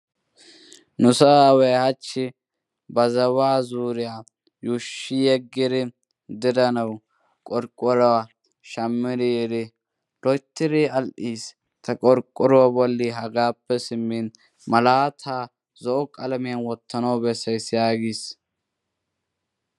Nusso aaway hachi ba zaawaa zuuriyaa yuushshi yeeggidi diranawu qorqqorywaa shaammiri yiiri loyttidi al"iis. Ta qorqqoruwaa bolli hagaappe simmin malataa zo'o qalamiyaa wottanawu bessays.